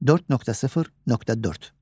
4.0.4.